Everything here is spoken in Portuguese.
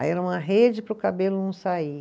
Aí era uma rede para o cabelo não sair.